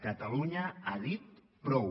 catalunya ha dit prou